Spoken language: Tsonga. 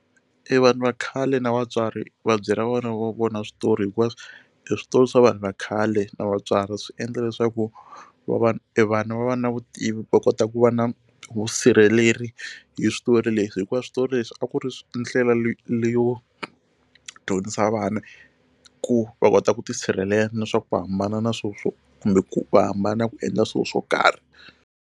I vanhu va khale na vatswari va byela vana va vona switori hikuva e switori swa vanhu va khale na vatswari swi endla leswaku e vana va va na vutivi va kota ku va na vusirheleri hi switori leswi hikuva switori leswi a ku ri ndlela leyo dyondzisa vana ku va kota ku tisirhelela na swa ku hambana na kumbe ku va hambana ku endla swilo swo karhi.